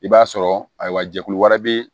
I b'a sɔrɔ ayiwa jɛkulu wɛrɛ bɛ yen